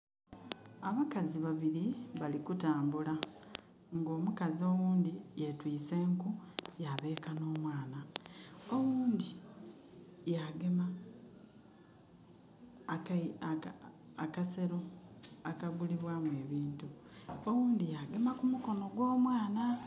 Abakazi babiri bali kutambula nga omukazi owundi yetwise enku yabeeka n' omwana, owundi ya gema akasero akagulibwamu ebintu. Owundi yagema ku mukono gwo mwana